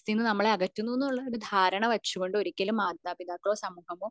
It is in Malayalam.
നമ്മളെ അകറ്റുന്നുണ് ഉള്ള ഒരു ധാരണ വച്ചുകൊണ്ട് ഒരിക്കലും മാതാപിതാക്കളോ സമൂഹമോ